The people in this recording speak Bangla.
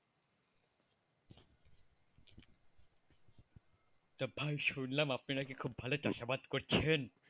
তা ভাই শুনলাম আপনি নাকি খুব ভালো চাষাবাদ করছেন।